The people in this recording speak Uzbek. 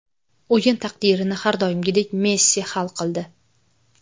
O‘yin taqdirini har doimgidek Messi hal qildi.